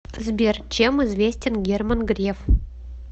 сбер чем известен герман греф